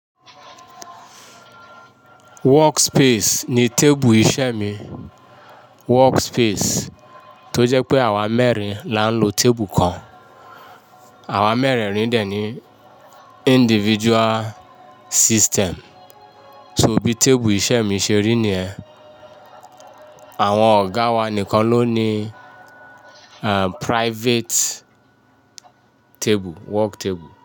Workspace ni tébù iṣẹ́ mi. Workspace tó jẹ́ pé àwa mẹ́rin là ń lo tébù kan. Àwa mẹ́rẹ̀rin dè ní individual system. So bí tébù iṣẹ́ mi ṣe rí ni ẹ́. Àwọn ọ̀gá wa nìkan ló ní private table, work table.